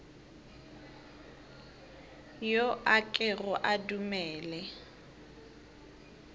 yo a kego a dumele